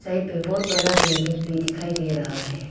Right में बहोत बड़ा बिल्डिंग भी दिखाई दे रहा है।